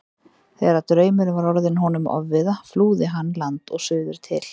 Þegar draumurinn var orðinn honum ofviða flúði hann land og suður til